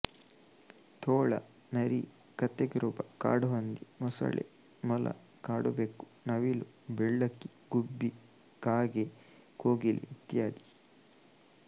ತೋಳ ನರಿ ಕತ್ತೆಕಿರುಬ ಕಾಡುಹಂದಿ ಮೊಸಳೆ ಮೊಲ ಕಾಡುಬೆಕ್ಕು ನವಿಲು ಬೆಳ್ಳಕ್ಕಿ ಗುಬ್ಬಿ ಕಾಗೆ ಕೋಗಿಲೆ ಇತ್ಯಾದಿ